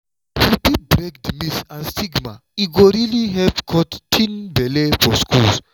if we fit break di myths and stigma e go really help cut teen belle for schools.